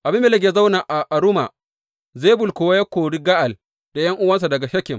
Abimelek ya zauna a Aruma, Zebul kuwa ya kori Ga’al da ’yan’uwansa daga Shekem.